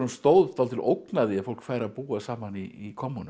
stóð dálítil ógn af því að fólk færi að búa saman í kommúnum